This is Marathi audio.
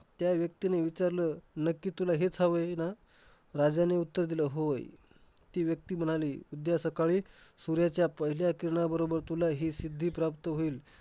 त्या व्यक्तीने विचारलं नक्की तुला हेच हवय ना? राजाने उत्तर दिलं होय. ती व्यक्ती म्हणाली उद्या सकाळी सूर्याच्या पहिल्या किरणा बरोबर तुला हे सिद्धी प्राप्त होईल.